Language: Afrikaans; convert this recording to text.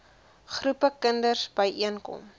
groepe kinders byeenkom